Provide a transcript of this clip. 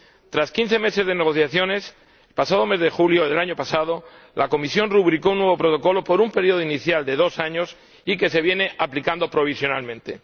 Tras quince meses de negociaciones, pasado el mes de julio del año pasado, la Comisión rubricó un nuevo Protocolo, por un periodo inicial de dos años, que se viene aplicando provisionalmente.